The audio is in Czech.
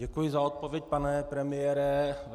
Děkuji za odpověď, pane premiére.